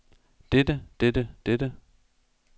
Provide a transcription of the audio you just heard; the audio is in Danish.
dette dette dette